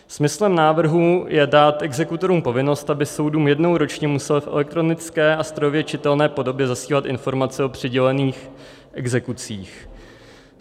Smyslem návrhu je dát exekutorům povinnost, aby soudům jednou ročně museli v elektronické a strojově čitelné podobě zasílat informace o přidělených exekucích.